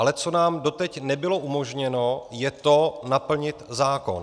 Ale co nám doteď nebylo umožněno, je to, naplnit zákon.